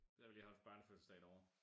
Der har vi lige holdt børnefødselsdag derovre